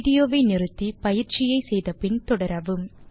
video வை நிறுத்தி பயிற்சியை செய்து முடித்து பின் தொடரவும்